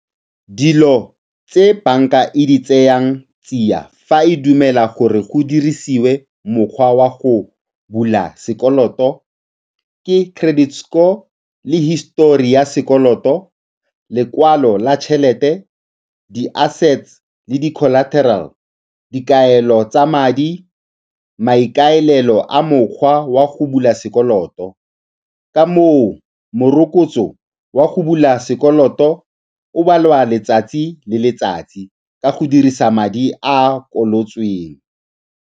Dilo tse banka e di tsayang tsia fa e dumela gore go dirisiwe mokgwa wa go bula sekoloto ke credit score le histori ya sekoloto, lekwalo la tšhelete, di-assets le di-colateral, dikaelo tsa madi, maikaelelo a mokgwa wa go bula sekoloto. Ka moo, morokotso wa go bula sekoloto o balwa letsatsi le letsatsi ka go dirisa madi a a kolotisitsweng.